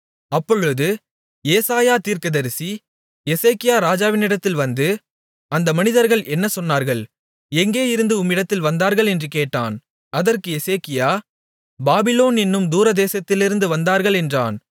அப்பொழுது ஏசாயா தீர்க்கதரிசி எசேக்கியா ராஜாவினிடத்தில் வந்து அந்த மனிதர்கள் என்ன சொன்னார்கள் எங்கேயிருந்து உம்மிடத்தில் வந்தார்கள் என்று கேட்டான் அதற்கு எசேக்கியா பாபிலோன் என்னும் தூரதேசத்திலிருந்து வந்தார்கள் என்றான்